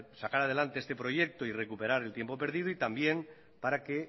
sacar adelante este proyecto y recuperar el tiempo perdido y también para que